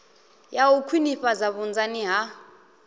ya u khwinifhadza vhunzani ha